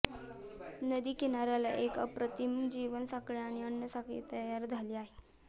नदीकिनाऱ्याला एक अप्रतिम जीवसाखळी आणि अन्न साखळी तयार झालेली आहे